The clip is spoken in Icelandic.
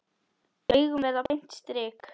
Augun verða beint strik.